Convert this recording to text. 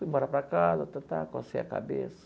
Fui embora para casa, cocei a cabeça.